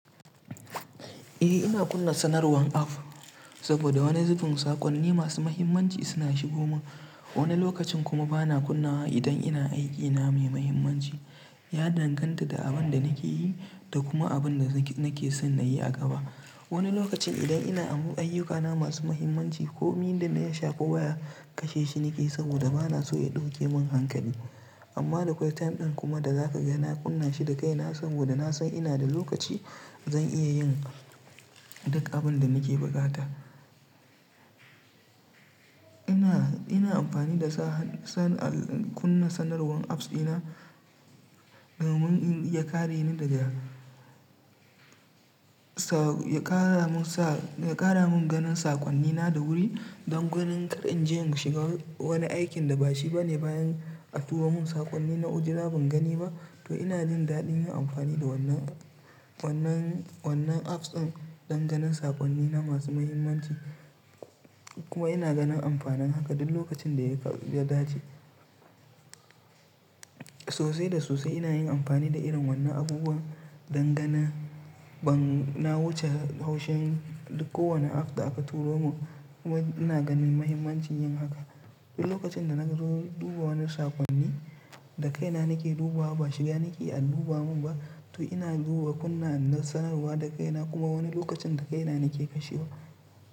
Eh ina kunna sanarwan app saboda wani zubin saƙonni masu mahimmanci suna shigomun. Wani lokacin kuma bana kunna wa idan ina aiki na mai mahimmanci, ya danganta da abin da nake yi da kuma abin da nake san na yi a gaba. Wani lokacin idan ina ayyukana masu mahimmanci ko mi da ya shafi waya kashe shi nake saboda bana so ya ɗauke min hankali. Amma da akwai time ɗin kuma da zaka ga na kunna shi da kaina saboda na san ina da lokaci zan iya yin duk abun da nake buƙata. Ina, ina amfani da sa, san, kunna sanarwan apps dina domin in iya kare ni daga Ya ƙara mun ganin saƙonnina da wuri don ganin kar in je in shiga wani aikin da ba shi bane bayan a turo mun saƙonni na ujila ban gani ba. To ina jin daɗin yin amfani da wannan, wannan, wannan apps ɗin don ganin saƙonnina masu mahimmanci kuma ina ganin ampanin haka duk lokacin da ya dace. Sosai da sosai ina yin ampani da irin wannan abubuwan dan ganin ban na wuce haushin kowani app da aka turo mun kuma ina ganin mahimmancin yin haka. Duk lokacin da naga duba wani saƙonni, da kaina nake duba wa ba shiga nake an duba mun ba. To ina duba kunna sanarwa da kaina kuma wani lokacin da kaina nake kashewa.